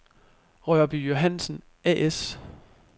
Rørby Johansen A/S